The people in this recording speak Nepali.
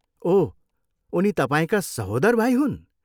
ओह, उनी तपाईँका सहोदर भाइ हुन्?